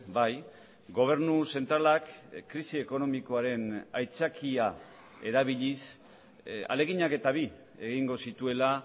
bai gobernu zentralak krisi ekonomikoaren aitzakia erabiliz ahaleginak eta bi egingo zituela